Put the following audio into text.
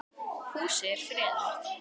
Húsið er friðað.